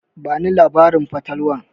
Bani labarin fatalwar.